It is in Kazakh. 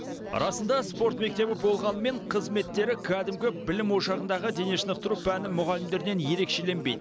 расында спорт мектебі болғанымен қызметтері кәдімгі білім ошағындағы денешынықтыру пәні мұғалімдерінен ерекшеленбейді